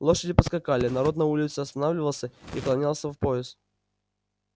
лошади поскакали народ на улице останавливался и кланялся в пояс